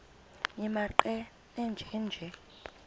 nimaqe nenje nje